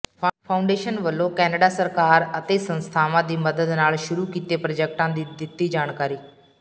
foundation ਵੱਲੋਂ Canada ਸਰਕਾਰ ਅਤੇ ਸੰਸਥਾਵਾਂ ਦੀ ਮੱਦਦ ਨਾਲ ਸ਼ੁਰੂ ਕੀਤੇ ਪ੍ਰਾਜੈਕਟਾਂ ਦੀ ਦਿੱਤੀ ਜਾਣਕਾਰੀ